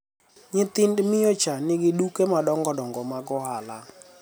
nyithind miyo cha nigi duke madongo dongo mag ohala